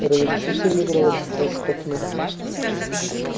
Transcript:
разрешите мне проводить вас к окну